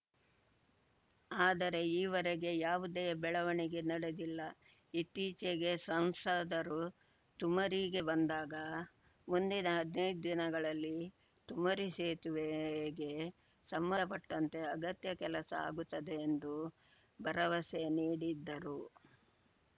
ಆದರೆ ಈವರೆಗೆ ಯಾವುದೆ ಬೆಳವಣಿಗೆ ನಡೆದಿಲ್ಲ ಇತ್ತೀಚೆಗೆ ಸಂಸದರು ತುಮರಿಗೆ ಬಂದಾಗ ಮುಂದಿನ ಹದ್ನೈದು ದಿನಗಳಲ್ಲಿ ತುಮರಿ ಸೇತುವೆಗೆ ಸಂಬಂಧಪಟ್ಟಂತೆ ಅಗತ್ಯ ಕೆಲಸ ಆಗುತ್ತದೆ ಎಂದು ಭರವಸೆ ನೀಡಿದ್ದರು